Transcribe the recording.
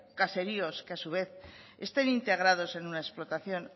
caseríos que a su vez estén integrados en una explotación